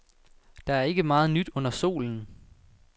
Der er ikke meget nyt under solen.